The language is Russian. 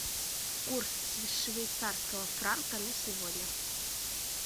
курс швейцарского франка на сегодня